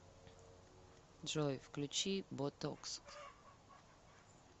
джой включи ботокс